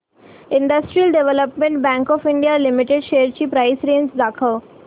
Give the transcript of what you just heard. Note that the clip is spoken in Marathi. industrial development bank of India limited shares ची प्राइस रेंज दाखव